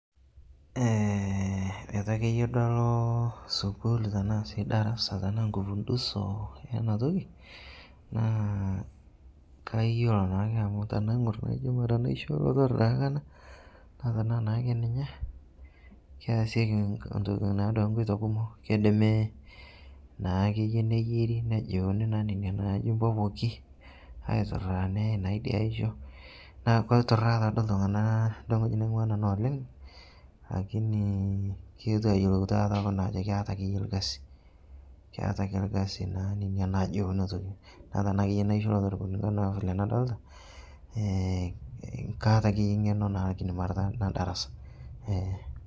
etu akeye duo aloo sukuul tanaa sii darasa tanaa nkupundusoo yana tokii naa kayolo naake amu tanaingur najo ngura naisho elotoroo daake anaa naa tanaa naake ninye keasieki naaduake nkoitoo kumoo keidimi naakeye neyeri nejiunii naa nenia naji mpopoki auturaa neyai naa idia aisho naa keituraa taaduo ltungana lengoji naingua nanuu lakini keotuo ayelou taata kuna ajo keata akeye lkazii keata akeye lkazi keata akee lkazi naa nenia najiu ana toki naa tanaa akeye naisho elotoro vile nadolita kaata akeye ngeno kake mara nedarasa